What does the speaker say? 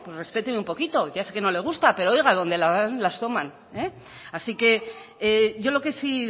respéteme un poquito ya sé que no le gusta pero oiga donde la dan las tomas así que yo lo que sí